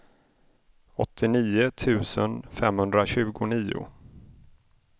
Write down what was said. åttionio tusen femhundratjugonio